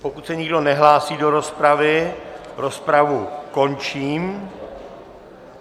Pokud se nikdo nehlásí do rozpravy, rozpravu končím.